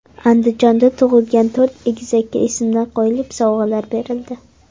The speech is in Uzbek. Andijonda tug‘ilgan to‘rt egizakka ismlar qo‘yilib, sovg‘alar berildi.